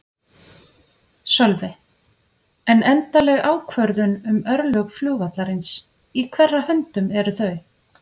Sölvi: En endanleg ákvörðun um örlög flugvallarins, í hverra höndum eru þau?